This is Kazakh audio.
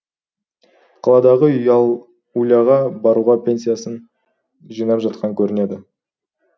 қаладағы уляға баруға пенсиясын жинап жатқан көрінеді